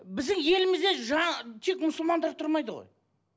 біздің елімізде тек мұсылмандар тұрмайды ғой